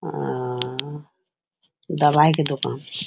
आ दवाई के दुकान |